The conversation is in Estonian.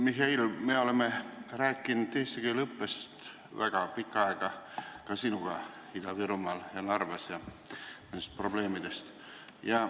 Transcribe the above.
Mihhail, me oleme sinuga kaua aega rääkinud eesti keele õppest Narvas ja mujal Ida-Virumaal, kõigist nendest probleemidest.